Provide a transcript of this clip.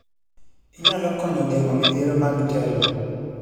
Inyalo konyo geng'o midhiero mag tielo.